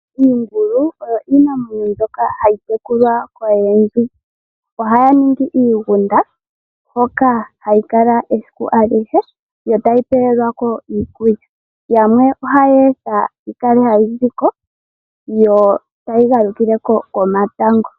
Iingulu oyo iinamwenyo mbyoka hayi tekulwa koyendji. Ohaya ningi iigunda hoka hayi kala esiku alihe yo tayi pewelwako iikulya. Yamwe oha yeyi etha yi kale hayi ziko yo tayi galukile ko komatango.